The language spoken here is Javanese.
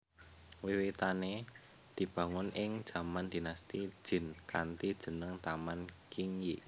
Wiwitane dibangun ing jaman Dinasti Jin kanthi jeneng Taman Qingyi